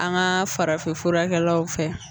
An ka farafinfurakɛlaw fɛ